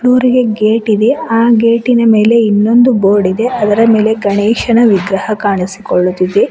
ನೂರಿಗೆ gate ಇದೆ ಆ ಗೇಟಿ ನ ಮೇಲೆ ಇನ್ನೊಂದು ಬೋರ್ಡ್ ಇದೆ ಅದರ ಮೇಲೆ ಗಣೇಶನ ವಿಗ್ರಹ ಕಾಣಿಸಿಕೊಳ್ಳುತ್ತಿದೆ.